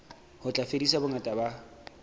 ho tla fedisa bongata ba